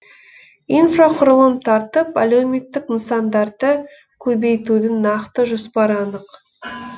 инфрақұрылым тартып әлеуметтік нысандарды көбейтудің нақты жоспары анық